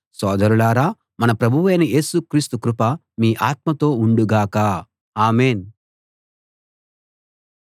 సోదరులారా మన ప్రభువైన యేసు క్రీస్తు కృప మీ ఆత్మతో ఉండుగాక ఆమేన్‌